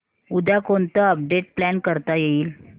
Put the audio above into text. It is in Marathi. उद्या कोणतं अपडेट प्लॅन करता येईल